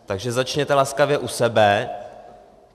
Takže začněte laskavě u sebe.